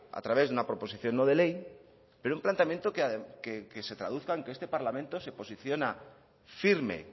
a través de una proposición no de ley pero un planteamiento que se traduzca en que este parlamento se posiciona firme